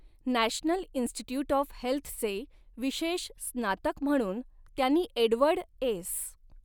National institute of हेल्थचे विशेष स्नातक म्हणून त्यांनी एडवर्ड एस.